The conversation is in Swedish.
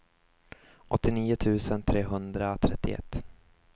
åttionio tusen trehundratrettioett